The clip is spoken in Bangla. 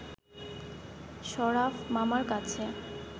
শরাফ মামার কাছে